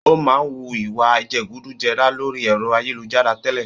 Ó máa ń wu ìwa jẹgúdújẹrá lórí ẹ̀rọ ayélujára tẹ́lẹ̀